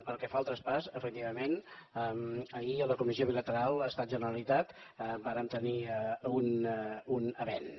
pel que fa al traspàs efectivament ahir a la comissió bilateral estat generalitat vàrem tenir un avenç